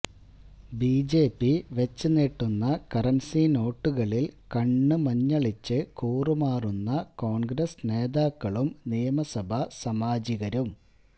B J P വച്ച് നീട്ടുന്ന currency നോട്ടുകളിൽ കണ്ണ് മഞ്ഞളിച്ച് കൂറുമാറുന്ന കോൺഗ്രസ്സ് നേതാക്കളും നിയമസഭാ സാമാജികരും